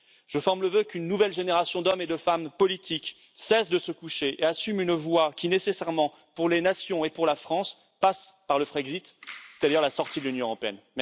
Je forme le vœu qu'une nouvelle génération d'hommes et de femmes politiques cesse de se coucher et assume une voie qui, nécessairement, pour les nations et pour la France, passe par le Frexit, c'est à dire la sortie de l'Union européenne.